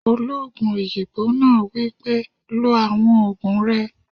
Olóògùn òyìnbó náà wípé, "lo àwọn ògùn rẹ!"